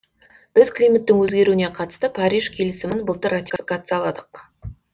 біз климаттың өзгеруіне қатысты париж келісімін былтыр ратификацияладық